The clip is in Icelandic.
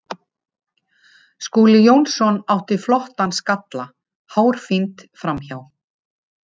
Skúli Jónsson átti flottan skalla hárfínt framhjá.